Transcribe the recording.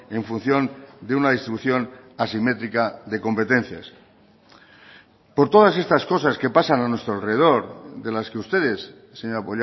en función de una distribución asimétrica de competencias por todas estas cosas que pasan a nuestro alrededor de las que ustedes señora